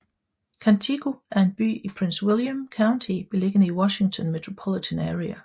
Quantico er en by i Prince William County beliggende i Washington Metropolitan Area